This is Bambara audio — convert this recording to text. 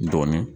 Dɔɔnin